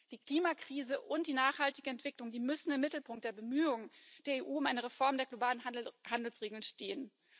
Die Klimakrise und die nachhaltige Entwicklung müssen im Mittelpunkt der Bemühungen der EU um eine Reform der globalen Handelsregeln stehen.